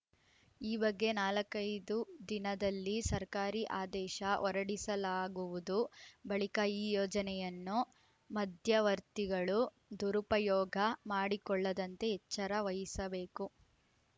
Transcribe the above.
ಈ ಬಗ್ಗೆ ನಾಲ್ಕೈದು ದಿನದಲ್ಲಿ ಸರ್ಕಾರಿ ಆದೇಶ ಹೊರಡಿಸಲಾಗುವುದು ಬಳಿಕ ಈ ಯೋಜನೆಯನ್ನು ಮಧ್ಯವರ್ತಿಗಳು ದುರುಪಯೋಗ ಮಾಡಿಕೊಳ್ಳದಂತೆ ಎಚ್ಚರ ವಹಿಸಬೇಕು